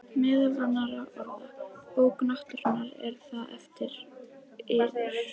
Meðal annarra orða: Bók náttúrunnar,- er það eftir yður?